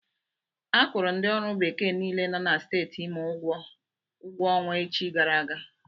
Akwụrụ ndi ọrụ bekee niile nọ na Steeti Imo ụgwọ ọnwa echi gara aga.